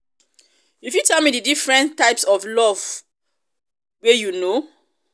you fit tell me di difference types of love wey of love wey you know?